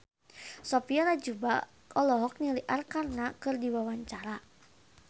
Sophia Latjuba olohok ningali Arkarna keur diwawancara